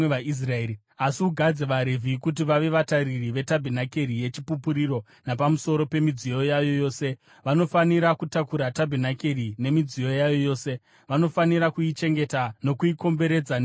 Asi ugadze vaRevhi kuti vave vatariri vetabhenakeri yeChipupuriro, napamusoro pemidziyo yayo yose; vanofanira kutakura tabhenakeri nemidziyo yayo yose; vanofanira kuichengeta nokuikomberedza nemisasa yavo.